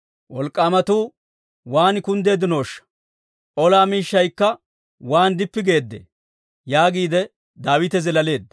«Wolk'k'aamatuu waan kunddeeddinooshsha! Ola miishshaykka waan dippi geedde!» yaagiide Daawite zilaaleedda.